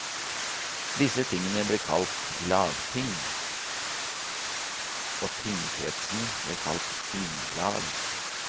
Disse tingene ble kalt lagting, og tingkretsene ble kalt tinglag.